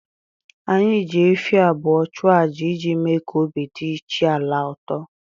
Anyị ji efi abụọ chụa aja iji mee ka obi dị chi ala a ụtọ